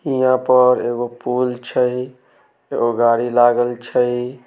यहाँ पर एगो पोल छै एगो गाड़ी लागल छै।